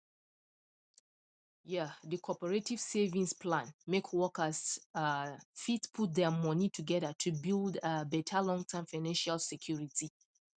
um the cooperative savings plan make workers um fit put their money together to build um better longterm financial security